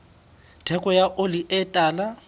theko ya oli e tala